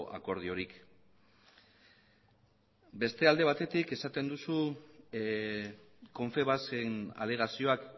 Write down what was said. akordiorik beste alde batetik esaten duzu confebask en alegazioak